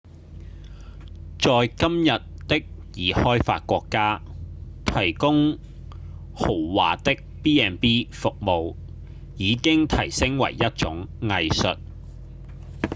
在今日的已開發國家提供豪華的 b&b 服務已經提升為一種藝術